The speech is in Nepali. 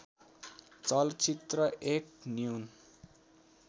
चलचित्र एक न्यून